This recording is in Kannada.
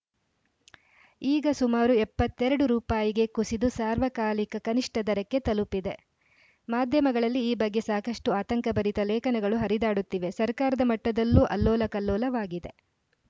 ಈಗ ಸುಮಾರು ಎಪ್ಪತ್ತ್ ಎರಡು ರುಪಾಯಿಗೆ ಕುಸಿದು ಸಾರ್ವಕಾಲಿಕ ಕನಿಷ್ಠ ದರಕ್ಕೆ ತಲುಪಿದೆ ಮಾಧ್ಯಮಗಳಲ್ಲಿ ಈ ಬಗ್ಗೆ ಸಾಕಷ್ಟುಆತಂಕಭರಿತ ಲೇಖನಗಳು ಹರಿದಾಡುತ್ತಿವೆ ಸರ್ಕಾರದ ಮಟ್ಟದಲ್ಲೂ ಅಲ್ಲೋಲಕಲ್ಲೋಲವಾಗಿದೆ